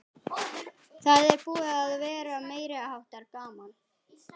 Það er búið að vera meiriháttar gaman!